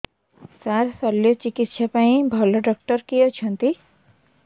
ସାର ଶଲ୍ୟଚିକିତ୍ସା ପାଇଁ ଭଲ ଡକ୍ଟର କିଏ ଅଛନ୍ତି